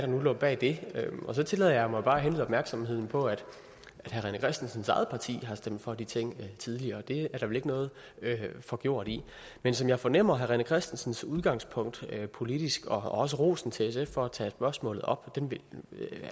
nu lå bag det og så tillader jeg mig bare at henlede opmærksomheden på at herre rené christensens eget parti har stemt for de ting tidligere det er der vel ikke noget forgjort i men som jeg fornemmer herre rené christensens udgangspunkt rent politisk og også rosen til sf for at tage spørgsmålet op